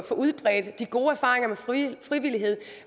får udbredt de gode erfaringer med frivillighed frivillighed